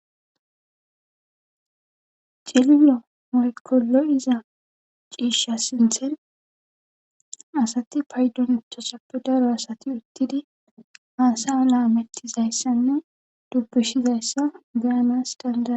celilo makolo iza ciishsha sinthen asati paydontosappe daro asati uttidi haasa laametizayssanne dubbishizayssa geanas danda